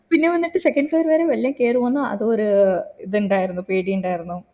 പിന്നെ വന്നിട്ട് second floor വരെ വെള്ളം കേറി വന്നു അത് ഒരു ഇത് ഇണ്ടായിരുന്നു പേടി ഇണ്ടായിരുന്നു